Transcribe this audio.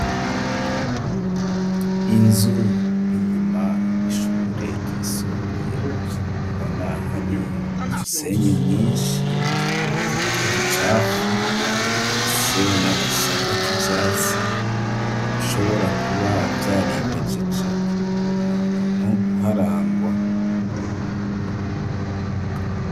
Inzu inyuma y'ishure yisumbuye ubona hari imisenyi myishi utwo twuducafu ifise n'agasaka k'ivyatsi ishobora kuba vyari mejeje nta muntu uharangwa.